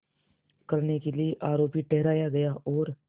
करने के लिए आरोपी ठहराया गया और